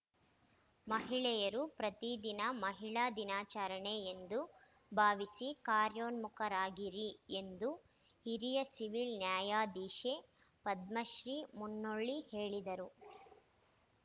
ಮಹಿಳೆಯರು ಪ್ರತಿ ದಿನ ಮಹಿಳಾ ದಿನಾಚರಣೆ ಎಂದು ಭಾವಿಸಿ ಕಾರ್ಯೋನ್ಮುಖರಾಗಿರಿ ಎಂದು ಹಿರಿಯ ಸಿವ್ಹಿಲ್ ನ್ಯಾಯಾಧೀಶೆ ಪದ್ಮಶ್ರೀ ಮುನ್ನೂಳ್ಳಿ ಹೇಳಿದರು